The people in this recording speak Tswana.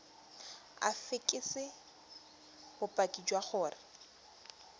o fekese bopaki jwa gore